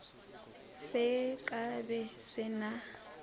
se ka be se na